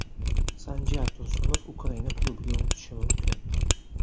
Sanjar Tursunov Ukraina klubiga o‘tishi mumkin.